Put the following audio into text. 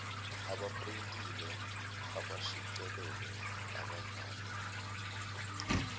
abaprintile abashicilele abadlale